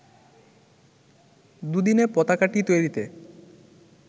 দু’দিনে পতাকাটি তৈরিতে